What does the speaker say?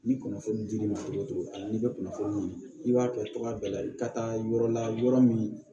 Ni kunnafoni dir'i ma cogo o cogo a la n'i bɛ kunnafoni i b'a kɛ cogoya bɛɛ la i ka taa yɔrɔ la yɔrɔ min